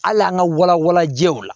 Hali an ka wala wala jɛw la